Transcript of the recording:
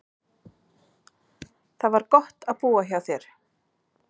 Það var gott að búa hjá þér.